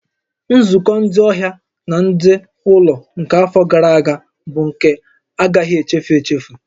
Nzukọ ndị ọhịa na ndị ụlọ nke afọ gara aga bụ nke a agaghị echefu echefu